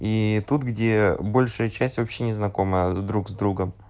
и тут где э общая часть вообще не знакома друг с другом